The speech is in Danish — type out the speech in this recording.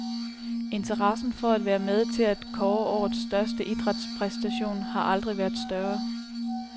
Interessen for at være med til at kåre årets største idrætspræstation har aldrig været større.